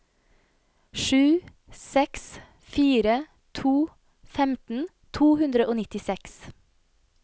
sju seks fire to femten to hundre og nittiseks